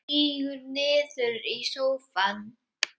Sígur niður í sófann.